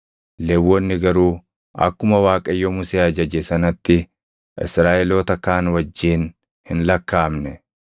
Lewwonni garuu akkuma Waaqayyo Musee ajaje sanatti Israaʼeloota kaan wajjin hin lakkaaʼamne.